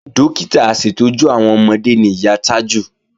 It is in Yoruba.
Dókítà aṣètọ́jú àwọn ọmọde ni ìyá Tájù